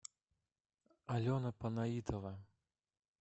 алена панаитова